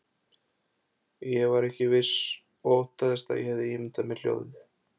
Ég var ekki viss og óttaðist að ég hefði ímyndað mér hljóðið.